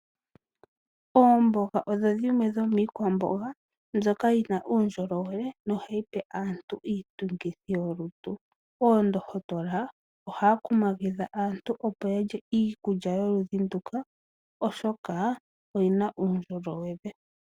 Oomboga odho dhimwe dhomiikwamboga mbyoka yina uundjolowele na ohayi pe aantu iitungithi yolutu. Oondohotola ohaya kumagidha aantu opo ya lye iikulya yo ludhi nduka oshoka oyina uundjolowele.